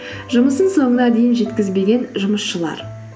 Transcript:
жұмысын соңына дейін жеткізбеген жұмысшылар